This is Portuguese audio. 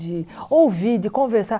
De ouvir, de conversar.